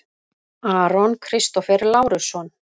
Aron Kristófer Lárusson